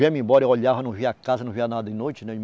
Viemos embora, eu olhava, não via casa, não via nada de noite.